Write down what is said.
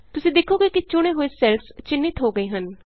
ਤੁਸੀਂ ਦੇਖੋਗੇ ਕਿ ਚੁਣੇ ਹੋਏ ਸੈੱਲਸ ਚਿੰਨ੍ਹਿਤ ਹੋ ਗਏ ਹਨ